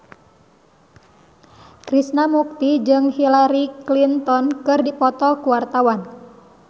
Krishna Mukti jeung Hillary Clinton keur dipoto ku wartawan